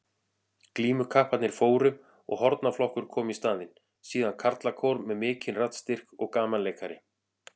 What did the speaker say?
Glímukapparnir fóru og hornaflokkur kom í staðinn, síðan karlakór með mikinn raddstyrk og gamanleikari.